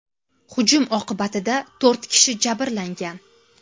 Hujum oqibatida to‘rt kishi jabrlangan.